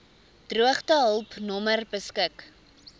droogtehulp nommer beskik